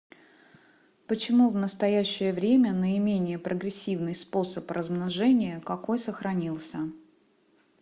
почему в настоящее время наименее прогрессивный способ размножения какой сохранился